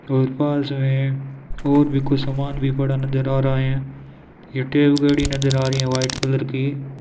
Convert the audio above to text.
और पास मे और भी कुछ सामान भी पड़ा नजर आ रहा है नजर आ रही है वाइट कलर की --